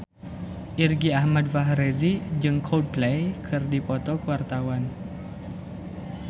Irgi Ahmad Fahrezi jeung Coldplay keur dipoto ku wartawan